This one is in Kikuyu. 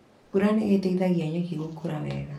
Mbura nĩ ĩteithagia nyeki gũkũra wega.